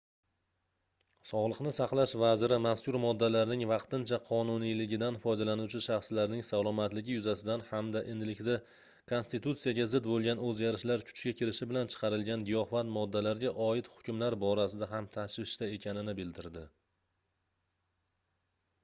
sogʻliqni saqlash vaziri mazkur moddalarning vaqtincha qonuniyligidan foydalanuvchi shaxslarning salomatligi yuzasidan hamda endilikda konstitutsiyaga zid boʻlgan oʻzgarishlar kuchga kirishi bilan chiqarilgan giyohvand moddalarga oid hukmlar borasida ham tashvishda ekanini bildirdi